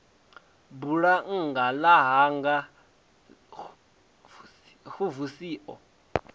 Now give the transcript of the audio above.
bulannga ḽa hanga xvusi o